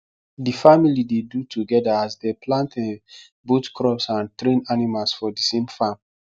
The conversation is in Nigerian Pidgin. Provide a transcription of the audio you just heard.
the family dey do together as dem plant um both crops and train animals for thesame farm